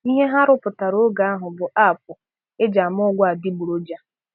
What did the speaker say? "Ihe ha rụrụpụtā oge ahụ bụ 'app' e ji ama ọgwụ adịgboroja.